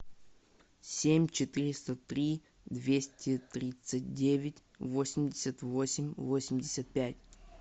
семь четыреста три двести тридцать девять восемьдесят восемь восемьдесят пять